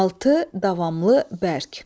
Altı, davamlı, bərk.